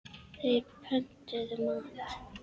Þeir pöntuðu mat.